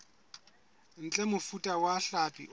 ntle mofuta wa hlapi o